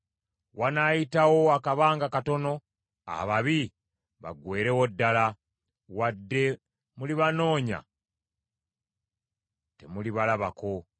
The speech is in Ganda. Wanaayitawo akabanga katono ababi baggweerewo ddala; wadde mulibanoonya temulibalabako.